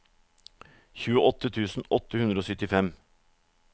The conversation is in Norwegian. tjueåtte tusen åtte hundre og syttifem